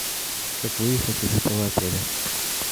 как выехать из этого отеля